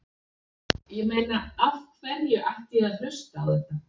Ég meina af hverju ætti ég að hlusta á þetta?